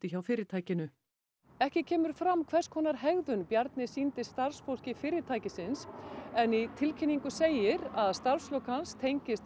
hjá fyrirtækinu ekki kemur fram hvers konar hegðun Bjarni sýndi starfsfólki fyrirtækisins en í tilkynningu segir að starfslok hans tengist